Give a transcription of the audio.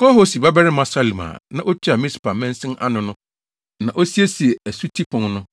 Kol-Hose babarima Salum a na otua Mispa mansin ano no na osiesiee Asuti Pon no.